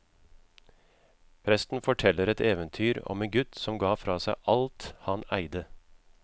Presten forteller et eventyr om en gutt som ga fra seg alt han eide.